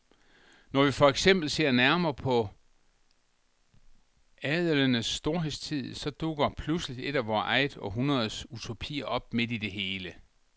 Når vi for eksempel ser nærmere på adelenes storhedstid, så dukker pludselig et af vort eget århundredes utopier op midt i det hele.